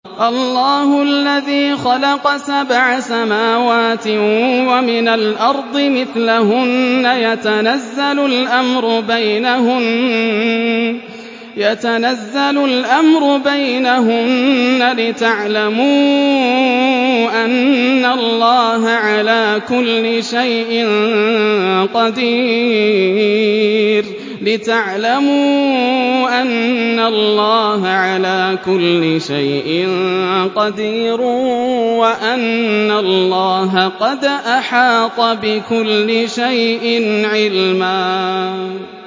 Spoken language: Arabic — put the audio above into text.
اللَّهُ الَّذِي خَلَقَ سَبْعَ سَمَاوَاتٍ وَمِنَ الْأَرْضِ مِثْلَهُنَّ يَتَنَزَّلُ الْأَمْرُ بَيْنَهُنَّ لِتَعْلَمُوا أَنَّ اللَّهَ عَلَىٰ كُلِّ شَيْءٍ قَدِيرٌ وَأَنَّ اللَّهَ قَدْ أَحَاطَ بِكُلِّ شَيْءٍ عِلْمًا